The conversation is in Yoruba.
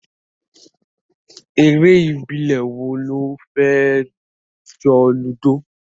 Eré ìbílẹ̀ wo ló fẹ́ jọ Ludo?